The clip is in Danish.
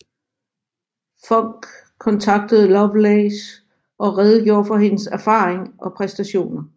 Funk kontaktede Lovelace og redegjorde for hendes erfaring og præstationer